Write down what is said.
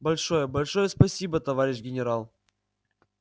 большое большое спасибо товарищ генерал